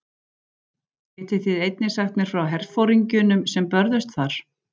Getið þið einnig sagt mér frá herforingjunum sem börðust þar?